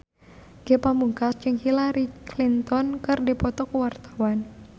Ge Pamungkas jeung Hillary Clinton keur dipoto ku wartawan